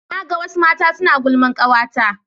na ga wasu mata suna gulman kawata ta